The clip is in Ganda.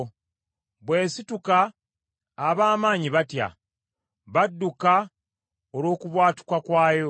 Bwesituka ab’amaanyi batya. Badduka olw’okubwatuka kwayo.